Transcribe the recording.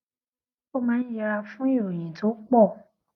ó máa ń yẹra fún ìròyìn tó pò